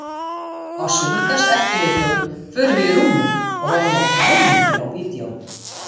Á sunnudagseftirmiðdögum förum við í rúmið og horfum á klámmyndir á vídeóinu.